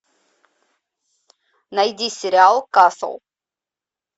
найди сериал касл